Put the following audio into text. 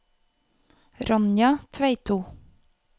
Ronja Tveito